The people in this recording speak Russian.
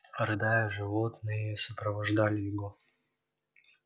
рыдая животные сопровождали его